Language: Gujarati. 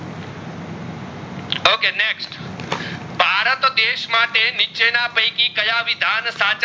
દેશ માટે નીચે ના પૈકી કયા વિધાન સાચા